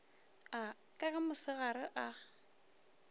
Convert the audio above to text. a ka ge motsenagare a